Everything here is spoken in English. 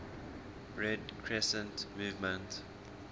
red crescent movement